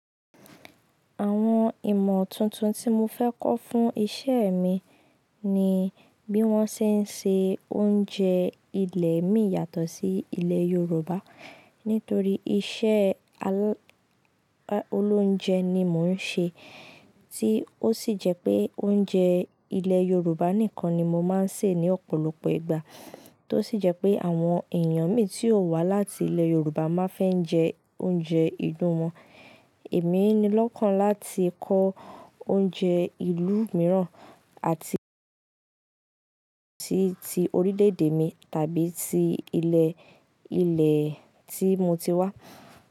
Àwọn ìmọ̀ tùntun ti mo fẹ́ ko fún iṣẹ́ mi ni bí won ṣe nse oúnjẹ ilé mi yàtọ̀ si ilé i yorùbá nítorí iṣẹ́ alá ólójẹ ni mò ń ṣe, tí ó sì jẹ́ pé oúnjẹ ilẹ̀ Yorùbá nìkan ni mo máa ń sè ní ọ̀pọ̀lọpọ̀ ìgbà. Tó sì jẹ́ pé àwọn èèyàn mi tí óò wá láti ilẹ̀ Yorùbá máa fẹ́ ń jẹ oúnjẹ ìlú wọn. Èmi ni lọ́kàn láti kọ́ oúnjẹ ìlú mìíràn àti tí ti orílẹ̀-èdè mi tàbí ti ilẹ̀, ilẹ̀ tí mo ti wá.